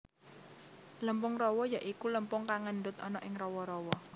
Lempung rawa ya iku lempung kang ngendut ana ing rawa rawa